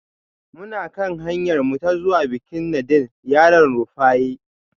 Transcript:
Muna kan hanyarmu ta zuwa bikin nadin yaran Rufaye